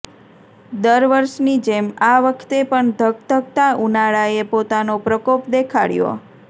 દર વર્ષની જેમ આ વખતે પણ ધગધગતા ઉનાળાએ પોતાનો પ્રકોપ દેખાડ્યો